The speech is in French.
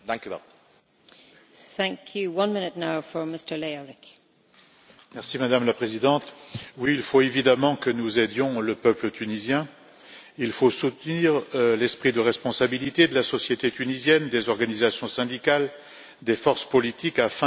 Madame la Présidente, oui, il faut évidemment que nous aidions le peuple tunisien, il faut soutenir l'esprit de responsabilité de la société tunisienne, des organisations syndicales, des forces politiques afin que la transition démocratique se poursuive et permette d'améliorer la vie des Tunisiens.